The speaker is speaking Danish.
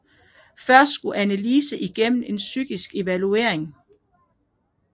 Først skulle Anneliese igennem en psykiatrisk evaluering